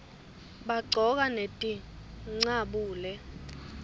baqcoka netincabule